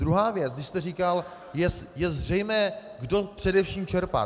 Druhá věc, když jste říkal, je zřejmé, kdo především čerpá.